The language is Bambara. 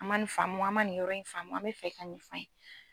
An ma ni faamu, an ma nin yɔrɔ faamu an bɛ fɛ i ka nin f'an ye.